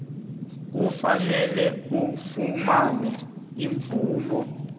kufanele ufumane imvumo